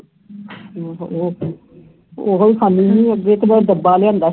ਓਹੋ ਹੀ ਖੜ੍ਹੀ ਹੁੰਦੀ ਹੈ ਅੱਗੇ ਉਸ ਤੋਂ ਬਾਅਦ ਡੱਬਾ ਲਿਆਂਦਾ